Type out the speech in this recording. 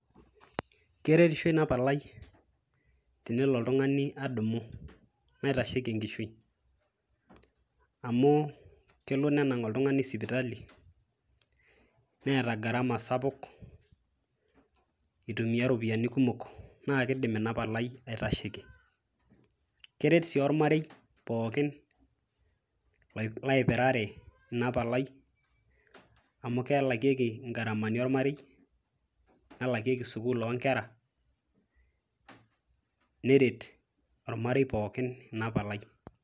keretisho ina palai tenelo oltung'ani adumu naitasheki enkishui amu kelo nenang oltung'ani sipitali neeta gharama sapuk itumia iropiyiani kumok naa kidim ina palai aitasheki, keret sii ormarei pookin laipirare ina palai amu kelakieki ingaramani ormarei nelakieki sukul onkera neret ormarei pookin ina palai.